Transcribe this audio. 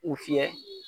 U fiyɛ